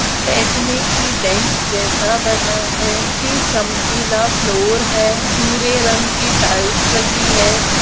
बैठने की बेंच जैसा बना है निचे चमकिला फ्लोर है भूरे रंग की टाइल्स लगी है।